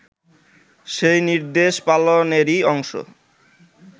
সেই নির্দেশ পালনেরই অংশ